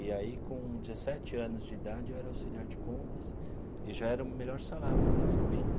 E aí, com dezessete anos de idade, eu era auxiliar de compras e já era o melhor salário da minha família.